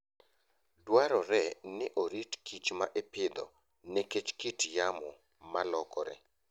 Dwarore ni orit kicho ma ipidho nikech kit yamo ma lokore.